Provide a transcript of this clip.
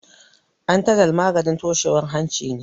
Antalaj maganin toshewar hanci ne.